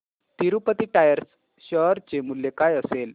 Tirupati tyres share चे मूल्य काय असेल